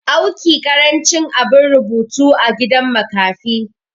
awki karancin abin rubutu a gidan makafi